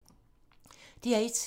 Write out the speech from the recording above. DR1